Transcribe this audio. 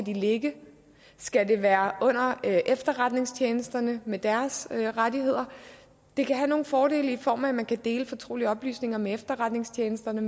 ligge skal det være under efterretningstjenesterne med deres rettigheder det kan have nogle fordele i form af at man kan dele fortrolige oplysninger med efterretningstjenesterne